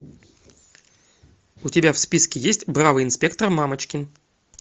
у тебя в списке есть бравый инспектор мамочкин